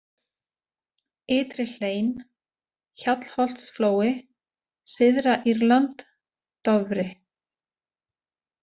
Ytri-Hlein, Hjallholtsflói, Syðra-Írland, Dofri